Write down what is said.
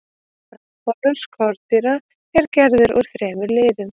frambolur skordýra er gerður úr þremur liðum